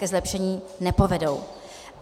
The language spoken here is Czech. Ke zlepšení nepovedou.